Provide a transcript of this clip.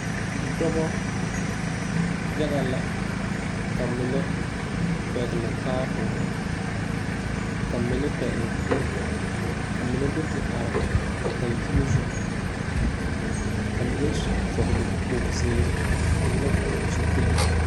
Dɔbɔ yaga la ka mine pɛgle taaboore ka mine pɛgle kuri ka mine do te are dankyine zu ka mine su vɔgle kpoge zeere ka mine vɔgle zupili.